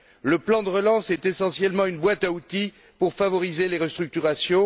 Le plan de relance est essentiellement une boîte à outils pour favoriser les restructurations.